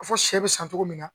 A fɔ sɛ bɛ san cogo min na